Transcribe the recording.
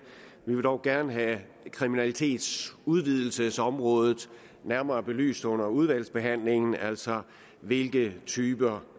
men vil dog gerne have kriminalitetsudvidelsesområdet nærmere belyst under udvalgsbehandlingen altså hvilke typer